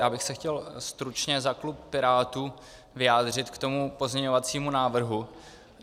Já bych se chtěl stručně za klub Pirátů vyjádřit k tomu pozměňovacímu návrhu.